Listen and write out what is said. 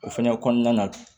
O fɛnɛ kɔnɔna na